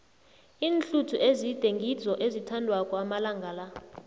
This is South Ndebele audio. iinhluthu ezide ngizo ezithandwako amalanga la